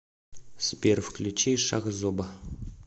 сбер включи шахзоба